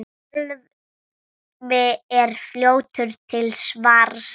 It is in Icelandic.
Sölvi er fljótur til svars.